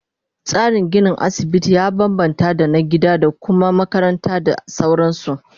Tsarin ginin asibiti ya bambamta da na gida da Kuma makaranta da sauransu